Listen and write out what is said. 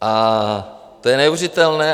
A to je neuvěřitelné.